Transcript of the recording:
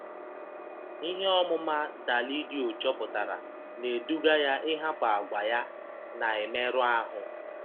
Ihe ọmụma Dalídio chọpụtara na-eduga ya ịhapụ àgwà ya na-emerụ ahụ.